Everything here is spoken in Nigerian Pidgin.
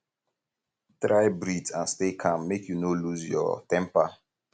try breath and stay calm make you no loose um your temper